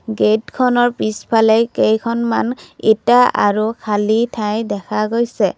গেটখনৰ পিছফালে কেইখনমান ইটা আৰু খালি ঠাই দেখা গৈছে।